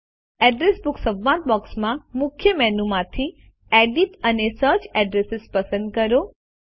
address book સંવાદ બોક્સમાં મુખ્ય મેનુ માંથી એડિટ અને સર્ચ એડ્રેસીસ પસંદ કરો